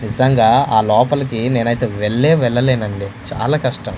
నిజంగా ఆ లోపలికి నేనైతే వెళ్ళే వెళ్లలేనండి చాలా కష్టం.